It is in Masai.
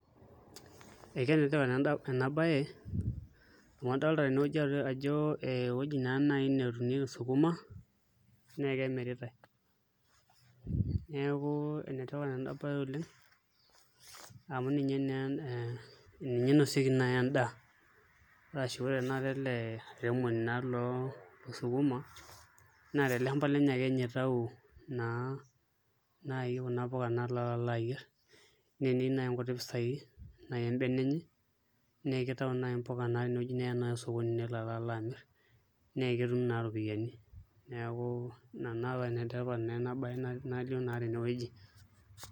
Enetipat naa ena baye amu adolita tenewueji ajo ee ewueji naa naai natuunieki sukuma naa ekemiritai neeku enetipat ena baye oleng' amu ninye naa ninye inosieki naai endaa arashu ore tanakata ele airemoni loosukuma naa tele shamba lenye ake ninye itau naai kuna puka alo ayierr naa eneyieu naai nkuti pisaai embene enye naa kitau naai mpuka nelo alo amirr naa ketum naai iropiyiani neku ina naa paa enetipat naa ena baye najo naa tenewueji.